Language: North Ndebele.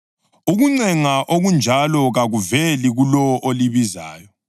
Ukuncenga okunjalo kakuveli kulowo olibizayo.